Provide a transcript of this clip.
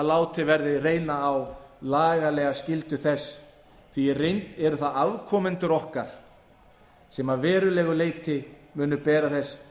látið verði reyna á lagalega skyldu þess því að í reynd eru það afkomendur okkar sem að verulegu leyti munu bera